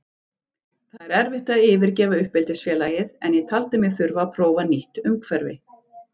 Það er erfitt að yfirgefa uppeldisfélagið en ég taldi mig þurfa að prófa nýtt umhverfi.